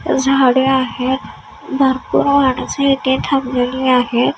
झाडे आहेत भरपूर माणसे इथे थांबलेली आहेत.